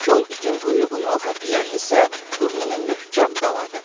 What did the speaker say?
Kol itin quyruğunu, xəfiyyənin isə burnunu möhkəm daladı.